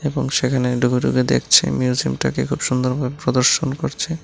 এবং সেখানে ঢুকে ঢুকে দেখছে মিউজিয়ামটাকে খুব সুন্দরভাবে প্রদর্শন করছে।